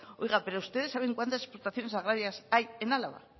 oiga pero ustedes saben cuántas explotaciones agrarias hay en álava